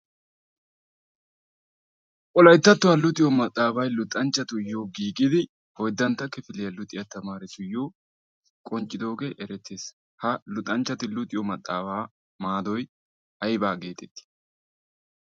wolaittattuwaa luxiyo maxaafay luxanchchatuyyo giigidi oyddantta kifiliyaa luxiyaa tamaarisuyyo qonccidoogee erettees. ha luxanchchati luxiyo maxaabaa maadoi aibaa geetettii?